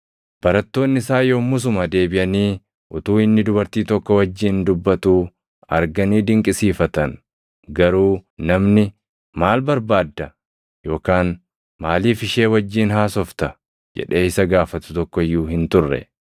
Barattoonni isaa yommusuma deebiʼanii utuu inni dubartii tokko wajjin dubbatuu arganii dinqisiifatan. Garuu namni, “Maal barbaadda?” yookaan “Maaliif ishee wajjin haasofta?” jedhee isa gaafatu tokko iyyuu hin turre.